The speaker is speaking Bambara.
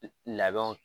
Labɛnw